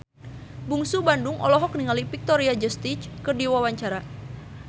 Bungsu Bandung olohok ningali Victoria Justice keur diwawancara